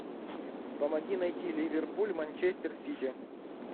помоги найти ливерпуль манчестер сити